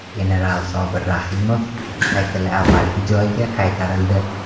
General Sobir Rahimov haykali avvalgi joyiga qaytarildi .